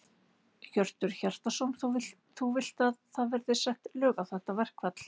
Hjörtur Hjartarson: Þú vilt að það verði sett lög á þetta verkfall?